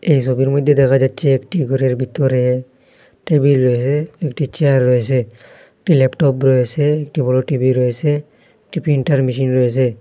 এই সবির মধ্যে দেখা যাচ্ছে একটি ঘরের ভিতরে টেবিল রয়েসে একটি চেয়ার রয়েসে একটি ল্যাপটপ রয়েসে একটি বড় টি_ভি রয়েসে একটি প্রিন্টার মেশিন রয়েসে।